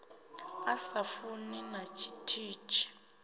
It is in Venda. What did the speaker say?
a sa funi na tshithihi